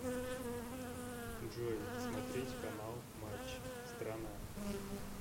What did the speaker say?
джой смотреть канал матч страна